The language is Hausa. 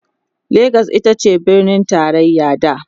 legas itace birnin taraya da